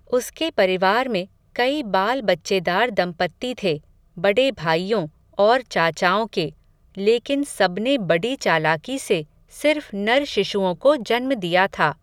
उसके परिवार में, कई बाल बच्चेदार दम्पत्ति थे, बडे भाइयों, और चाचाओं के, लेकिन सबने बडी चालाकी से, सिर्फ़ नर शिशुओं को जन्म दिया था